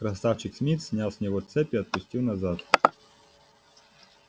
красавчик смит снял с него цепь и отступил назад